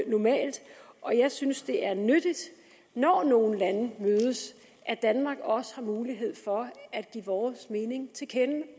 normalt og jeg synes at det er nyttigt når nogle lande mødes at danmark også har mulighed for at give vores mening til kende